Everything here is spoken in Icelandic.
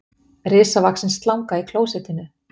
Risavaxin slanga í klósettinu